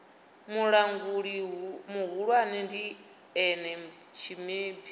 mulanguli muhulwane ndi ene tshimebi